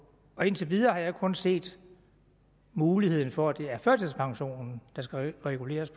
indtil videre har jeg kun set muligheden for at det er førtidspensionen der skal reguleres